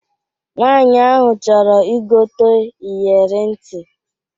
Nwaanyị ahụ chọrọ igote iyere ntị